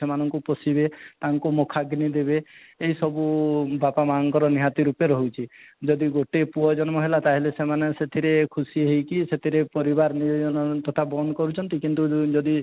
ସେମାନଙ୍କୁ ପୋଷିବେ ତାଙ୍କୁ ମୁଖାଗ୍ନି ଦେବେ ଏସବୁ ବାପା ମାଆ ଙ୍କର ନିହାତି ରୂପରେ ରହିଛି ଯଦି ଗୋଟେ ପୁଅ ଜନ୍ମ ହେଲା ତାହେଲେ ସେମାନେ ସେଥିରେ ଖୁସି ହେଇକି ସେଥିରେ ପରିବାର ନିୟୋଜନତା ବନ୍ଦ କରୁଛନ୍ତି କିନ୍ତୁ ଯଦି